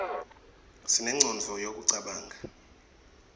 sinengcondvo yekucabanga